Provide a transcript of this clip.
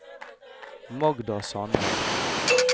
Magda Sande